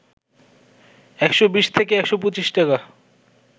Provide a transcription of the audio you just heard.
১২০ থেকে ১২৫ টাকা